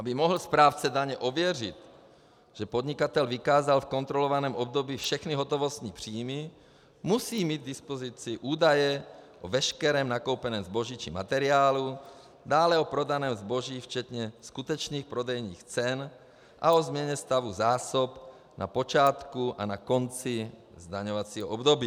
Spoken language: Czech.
Aby mohl správce daně ověřit, že podnikatel vykázal v kontrolovaném období všechny hotovostní příjmy, musí mít k dispozici údaje o veškerém nakoupeném zboží či materiálu, dále o prodaném zboží včetně skutečných prodejních cen a o změně stavu zásob na počátku a na konci zdaňovacího období.